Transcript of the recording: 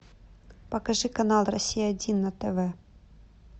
покажи канал россия один на тв